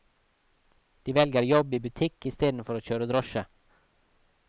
De velger jobb i butikk istedenfor å kjøre drosje.